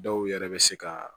Dɔw yɛrɛ bɛ se ka